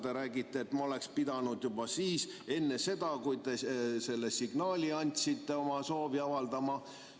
Te räägite, et ma oleks pidanud juba enne seda, kui te signaali andsite, oma soovi avaldama.